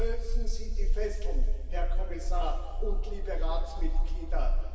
Lösen Sie die Fesseln, Herr Kommissar und liebe Ratsmitglieder!